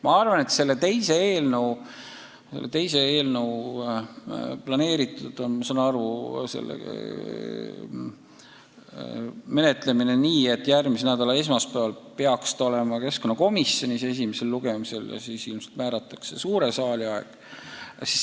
Ma saan aru, et teise eelnõu menetlemine on planeeritud nii, et järgmise nädala esmaspäeval peaks see olema keskkonnakomisjonis esimese lugemise eelsel arutelul ja siis ilmselt määratakse suure saali aeg.